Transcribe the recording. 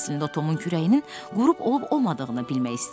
Əslində o Tomun kürəyinin quru olub olmadığını bilmək istəyirdi.